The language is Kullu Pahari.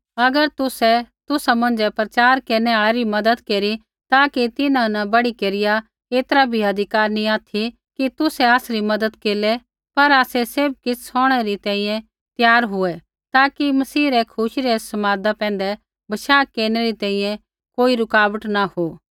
अगर तुसै तुसा मौंझ़ै प्रचार केरनु आल़ै री मज़त केरी ता कि तिन्हां न बढ़ी केरिया ऐतरा भी अधिकार नैंई ऑथि कि तुसै आसरी मज़त केरलै पर आसै सैभ किछ़ सौहणै री त्यार हुऐ ताकि मसीह रै खुशी रै समादा पैंधै बशाह केरनै री तैंईंयैं कोई रुकावट न हो